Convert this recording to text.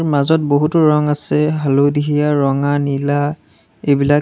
মাজত বহুতো ৰং আছে হালধীয়া ৰঙা নীলা এইবিলাক।